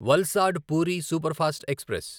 Valsad Puri superfast express